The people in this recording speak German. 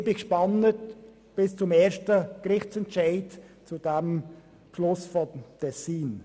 Ich bin gespannt, wie der erste Gerichtsentscheid zum Tessiner Beschluss ausfallen wird.